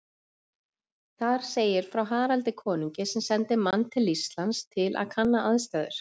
Þar segir frá Haraldi konungi sem sendi mann til Íslands til að kanna aðstæður.